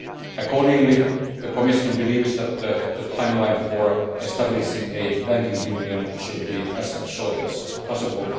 Accordingly, the Commission believes that the timeline for establishing a banking union should be as short as possible.